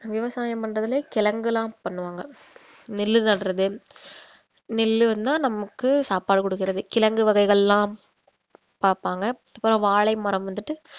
விவசாயம் பண்றதுலயே கிழங்கு எல்லாம் பண்ணுவாங்க நெல்லு நடுறது நெல்லுனா நமக்கு சாப்பாடு கொடுக்கிறது கிழங்கு வகைகள்லாம் பார்ப்பாங்க அப்புறம் வாழை மரம் வந்துட்ட